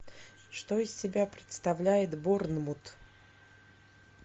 что из себя представляет борнмут